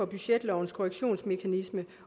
budgetlovens korrektionsmekanisme